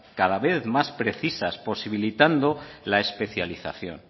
cada vez más precisas posibilitando la especialización